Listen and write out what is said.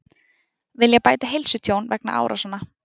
Vilja bæta heilsutjón vegna árásanna